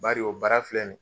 Bari o baara filɛ ni ye